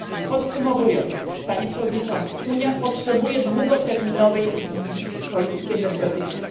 Podsumowując, Panie Przewodniczący, Unia potrzebuje długoterminowej wizji polityki energetycznej.